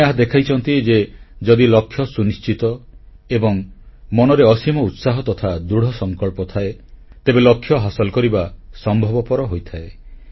ସେମାନେ ଏହା ଦେଖାଇଛନ୍ତି ଯେ ଯଦି ଲକ୍ଷ୍ୟ ସୁନିଶ୍ଚିତ ଏବଂ ମନରେ ଅସୀମ ଉତ୍ସାହ ତଥା ଦୃଢ଼ସଂକଳ୍ପ ଥାଏ ତେବେ ଲକ୍ଷ୍ୟ ହାସଲ କରିବା ସମ୍ଭବପର ହୋଇଥାଏ